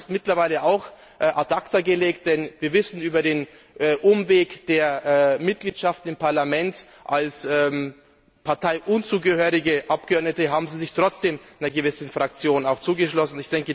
Aber das ist mittlerweile auch ad acta gelegt, denn wir wissen, über den Umweg der Mitgliedschaften im Parlament als keiner Partei zugehörige Abgeordnete haben sie sich trotzdem einer gewissen Fraktion angeschlossen.